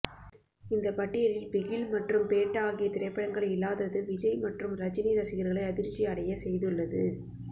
இந்த பட்டியலில் பிகில் மற்றும் பேட்ட ஆகிய திரைப்படங்கள் இல்லாதது விஜய் மற்றும் ரஜினி ரசிகர்களை அதிர்ச்சி அடைய செய்துள்ளது